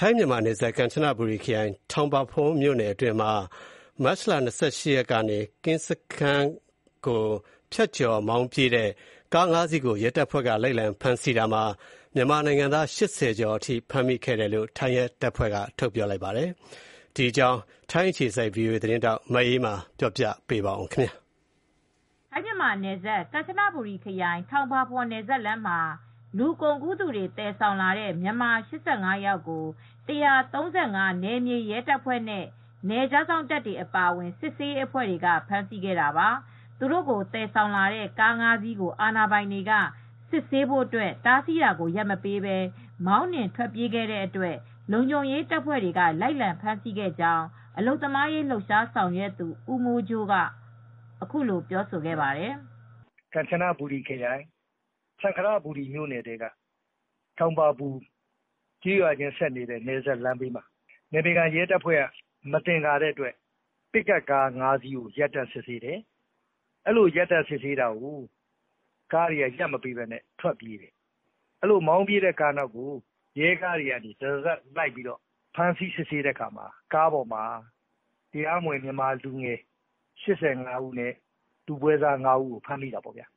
ထိုင်း-မြန်မာနယ်စပ် ကမ်ချနဘူရီခရိုင်၊ ထောင်ပါပွန်း မြိုနယ်အတွင်းမှာ မတ်လ ၂၈ရက် မနေ့က ကင်းစခမ်းကို ဖြတ်ကျော် မောင်းပြေးတဲ့ ကားငါးစီးကို ရဲတပ်ဖွဲက လိုက်လံဖမ်းဆီးရာမှာ မြန်မာနိုင်ငံသား ၈၀ ကျော် ဖမ်းမိတယ်လို့ ရဲတပ်ဖွဲ့က ပြောပါတယ်။ ဒီအကြောင်း ထိုင်းအခြေစိုက် ဗွီအိုအေသတင်းထောက် မအေးအေးမာ သတင်းပေးပို့ထားပါတယ်။ ထိုင်း မြန်မာနယ်စပ် ကန်ချနဘူရီ ခရိုင် ထောင်းပါပွန်း နယ်စပ်လမ်းမှာ လူကုန်ကူးတွေသယ်ဆောင်လာတဲ့ မြန်မာ ၈၅ယောက်ကို ၁၃၅ နယ်မြေ ရဲတပ်ဖွဲ့ နဲ့ နယ်ခြားစောင့်တပ်တွေအပါအဝင် စစ်ဆေးရေးအဖွဲ့ တွေကဖမ်းဆီးခဲ့တာပါ။ သူတို့ကိုသယ်ဆောင်လာတဲ့ ကား၅စီးကို အာဏာပိုင်တွေက စစ်ဆေးဖို့ တားဆီးတာကိုရပ်မပေးပဲ မောင်းနှင်ထွက်ပြေးခဲ့ပေမဲ့ လုံခြုံရေးတပ်ဖွဲ့တွေက လိုက်လံဖမ်းဆီးခဲ့ကြောင်း အလုပ်သမားရေးဆောင်ရွက်သူ ဦးမိုးကြိုးကအခုလိုပြောပါတယ်။ "ကန်ချနဘူရီခရိုင် စံခရဘူရီမြို့နယ်ထဲက ထောင်ပါပွန်းကျေးရွာနဲ့ဆက်စပ်တဲ့နယ်စပ်လမ်းဘေးမှာ နယ်မြေခံရဲတပ်ဖွဲ့က မသင်္ကာတဲ့အတွက် ပစ်ကပ်ကား ၅စီးကိုရပ်တန့်စစ်ဆေးတယ် ၊ အဲဒီလို ရပ်တန့်စစ်ဆေးတာကို ကားတွေကိုမောင်းပြေးတယ် ၊ အဲဒီလိုမောင်းပြေးတဲ့ကားနောက်ကို ရဲတွေက နောက်ကတရစပ်လိုက်လံဖမ်းဆီးတယ်၊အဲဒီကား ၅စီးပေါ်မှာ တရားမဝင် မြန်မာလူငယ် ၈၅ဦးနဲ့ပဲွစား ၅ဦးကိုဖမ်းမိပါတယ်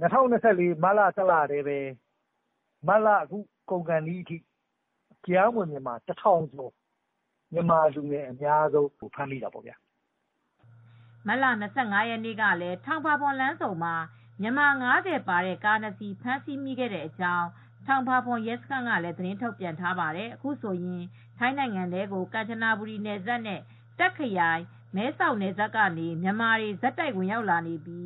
၊ ၂၀၂၄ ခုနှစ်မတ်လအတွင်းမှာ လကုန်ခါနီးအထိ တရားမဝင် မြန်မာလူငယ် တထောင်ကျော်ဖမ်းခံရပါတယ်" မတ်လ ၂၅ ရက်နေ့ကလည်း ထောင်ပါပွန်း လမ်းဆုံမှာ မြန်မာ ၅၀ ပါတဲ့ ကားနှစ်စီး ဖမ်းဆီမိခဲ့ကြောင်း ထောင်ပါပွန်းရဲစခန်းကသးတင်းထုတ်ပြန်ထားပါတယ်။ အခုဆိုရင် ထိုင်းနိုင်ငံထဲကို ကမ်ချနဘူရီနယ်စပ်နဲ့ တာခ့်ခရိုင်မဲဆောက်နယ်စပ်ကနေ မြန်မာတွေ ဆက်တိုက်ဝင်ရောက်လာနေပြီ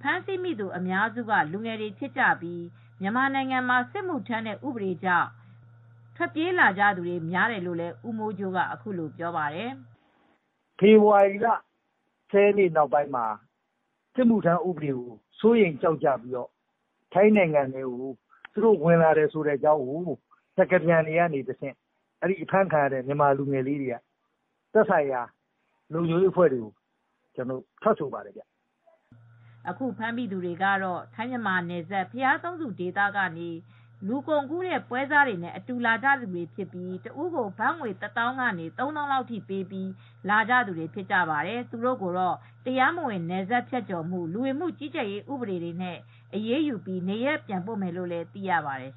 ဖမ်းမိသူအများစုက လူငယ်တွေဖြစ်ကြပြီး မြန်မာနိုင်ငံမှာစစ်မှုထမ်းတဲ့ဥပဒေကြောင့် ထွက်ပြေးလာကြသူတွေများတယ်လို့လည်း ဦးမိုးကြိုးကအခုလိုပြောပါတယ်။ "ဖေဖေါ်ဝါရီလ ၁၀ရက်နေ့နောက်ပိုင်းမှာစစ်မှုထမ်းဥပဒေကိုစိုးရိမ်ကြောင်းကြပြီး ထိုင်းနိုင်ငံထဲကို ဝင်ရောက်လာတဲ့အကြောင်းစကားပြန်တွေကတဆင့် သက်ဆိုင်ရာလုံခြုံရေးအဖွဲ့တွေကိုထွက်ဆိုကြပါတယ်" အခုဖမ်းမိသူတွေကတော့ထိုင်းမြန်မာနယ်စပ် ဘုရားသုံးဆူဒေသကနေ လူကုန်ကူးတဲ့ပွဲစားတွေနဲ့အတူလာကြတဲ့သူတွေဖြစ်ပြီး တဦးက ဘတ်ငွေ တသောင်းကနေ ၃သောင်းလောက်ထိပေးပြီး လာကြသူတွေဖြစ်ပါတယ် ။ သူတို့ကိုတော့တရားမဝင်နယ်စပ်ဖြတ်ကျော်မှု လူဝင်မှုကြီးကြပ်ရေးဥပဒေနဲ့အရေးယူပြီးမှ နေရပ်ပြန်ပို့မယ်လို့သိရပါတယ်